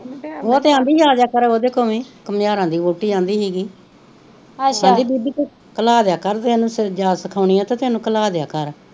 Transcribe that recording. ਉਹ ਤੇ ਅਹੰਦੀ ਸੀ ਕਮੇਯਾਰਾ ਦੀ ਵੋਹਟੀ ਆਂਦੀ ਸੀਗੀ ਕਹਿੰਦੀ ਬੀਬੀ ਤੂੰ